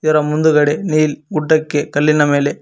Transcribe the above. ಇದರ ಮುಂದ್ಗಡೆ ನಿಲ್ ಗುಡ್ಡಕ್ಕೆ ಕಲ್ಲಿನ ಮೇಲೆ--